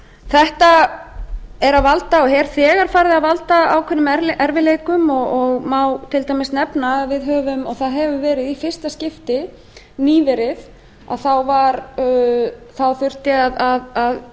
þetta er að valda og er þegar farið að valda ákveðnum erfiðleikum og má til dæmis nefna að við höfum og það hefur verið í fyrsta skipti nýverið þá þurfti að